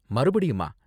மறுபடியுமா?